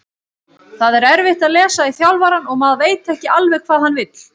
Það er erfitt að lesa í þjálfarann og maður veit ekki alveg hvað hann vill.